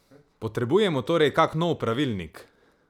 Potrebujemo torej kak nov pravilnik?